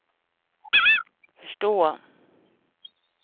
förstå